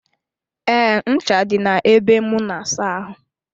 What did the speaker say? Ee, ncha dị na ebe m na-asa ahụ.